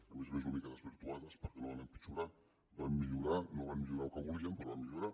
a més a més una mica desvirtuades perquè no van empitjorar van millorar no van millorar el que volíem però van millorar